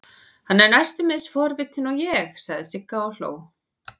Hann er næstum eins forvitinn og ég, sagði Sigga og hló.